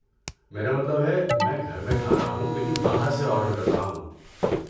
میرا مطلب ہے، میں گھر میں کھا رہا ہوں لیکن باہر سے آرڈر کر رہا ہوں۔